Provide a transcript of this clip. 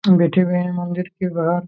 हम बैठे हुए है मंदिर के बाहर।